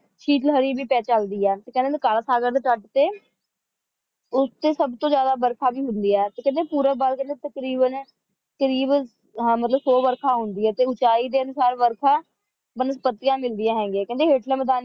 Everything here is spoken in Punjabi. ਸ਼ੀਟ ਲਹਿਰੀ ਵੀ ਪੈ ਚੱਲਦੀ ਹੈ ਕਹਿੰਦੀ ਨੇ ਕਲਾ ਸਾਗਰ ਦੇ ਤਟ ਤੇ ਉਸਤੇ ਸਭ ਤੋਂ ਜਿਆਦਾ ਵਰਖਾ ਵੀ ਹੁੰਦੀ ਹੈ ਤੇ ਕਹਿੰਦੀ ਪੂਰਵ ਵੱਲ ਤਕਰੀਬਨ ਤਕਰੀਬਨ ਸੌ ਵਰਖਾ ਹੁੰਦੀ ਹੈ ਤੇ ਉਚਾਈ ਦੇ ਅਨੁਸਾਰ ਵਰਖਾ ਮਤਲਬ ਸਰਦੀਆਂ ਮਿਲਦੀਆਂ ਹੈਗੀਆਂ ਨੇ